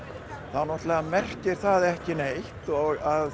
þá merkir það ekki neitt að